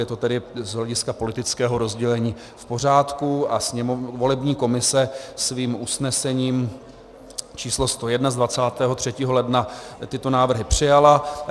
Je to tedy z hlediska politického rozdělení v pořádku a volební komise svým usnesením číslo 101 z 23. ledna tyto návrhy přijala.